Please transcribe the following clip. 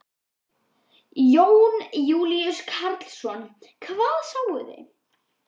Jón Júlíus Karlsson: Hvað sáuð þið?